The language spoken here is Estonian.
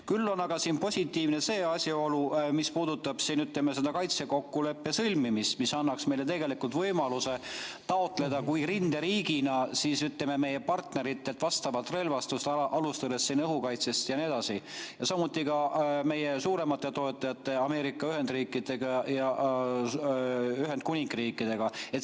Küll on aga siin positiivne see asjaolu, mis puudutab seda kaitsekokkuleppe sõlmimist, mis annaks meile võimaluse taotleda rinderiigina, ütleme, meie partneritelt vastavat relvastust, alustades õhukaitsest ja nii edasi, samuti meie suuremate toetajate Ameerika Ühendriikide ja Ühendkuningriigiga.